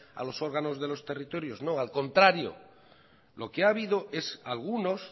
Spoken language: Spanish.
a los órganos de los territorios no al contrario lo que ha habido es algunos